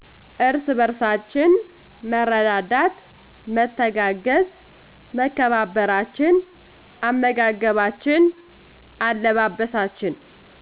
እርስ በርእሳችን መረዳዳት መተጋገዝ መከባበራችን አመጋገባችን አለባበሳችን